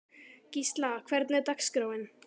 Gísla, hvernig er dagskráin?